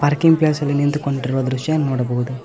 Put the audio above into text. Parking place ಅಲ್ಲಿ ನಿಂತುಕೊಂಡಿರುವ ದೃಶ್ಯ ನೋಡಬಹುದು.